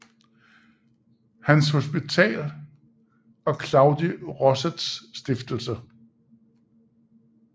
Hans Hospital og Claudi Rossets Stiftelse